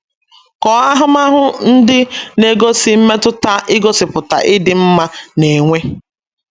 Kọọ ahụmahụ ndị na - egosi mmetụta igosipụta ịdị mma na - enwe.